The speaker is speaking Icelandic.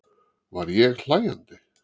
Var ég hlæjandi?